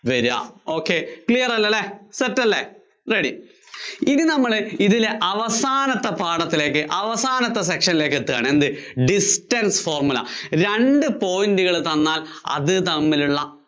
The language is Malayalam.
വര്വാ. ok clear അല്ലേ? set അല്ലേ? ready ഇനി നമ്മള് ഇതിന്‍റെ അവസാനത്തെ പാഠത്തിലേക്ക് അവസാനത്തെ section നിലേക്ക് എത്തുകയാണ്, എന്ത് distance formula. രണ്ട് point കള്‍ തന്നാല്‍ അത് തമ്മിലുള്ള